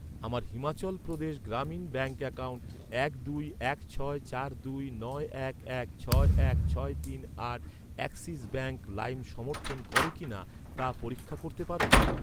আমার Himachal Pradesh Gramin bank account এক দুই এক ছয় চার দুই নয় এক এক ছয় এক ছয় তিন আট অ্যাক্সিস ব্যাঙ্ক লাইম সমর্থন করে কিনা তা পরীক্ষা করতে পার?